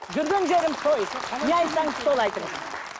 жүрген жерім той не айтсаңыз соны айтыңыз